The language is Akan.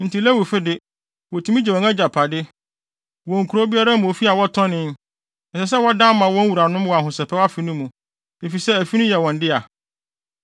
Enti Lewifo de, wotumi gye wɔn agyapade; wɔn kurow biara mu ofi a wɔtɔnee, ɛsɛ sɛ wɔdan ma wɔn wuranom wɔ Ahosɛpɛw Afe no mu, efisɛ afi no yɛ wɔn dea.